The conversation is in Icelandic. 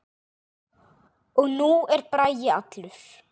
Og nú er Bragi allur.